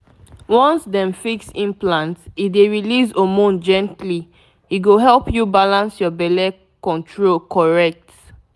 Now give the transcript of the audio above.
once dem fix implant e dey release hormone gently — e go help you balance your belle control correct.